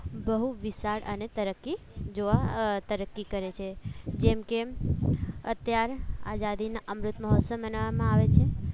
બહુ વિશાળ અને તરક્કી જોવા તરફથી કરે છે જેમકે અત્યારે આઝાદીનો અમૃત મહોત્સવ બનાવવામાં આવે છે